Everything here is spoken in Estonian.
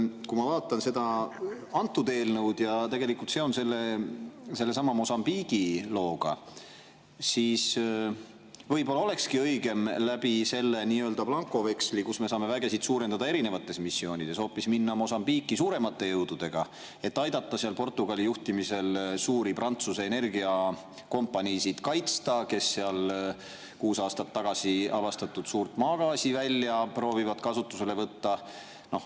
Kui ma vaatan seda eelnõu ja tegelikult ka sedasama Mosambiigi lugu, siis et võib-olla olekski õigem selle nii-öelda blankoveksli abil, millega me saame erinevatel missioonidel suurendada, minna Mosambiiki hoopis suuremate jõududega, et aidata Portugali juhtimisel kaitsta suuri Prantsuse energiakompaniisid, kes seal kuus aastat tagasi avastatud suurt maagaasivälja proovivad kasutusele võtta.